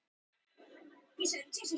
Gengi evru enn lágt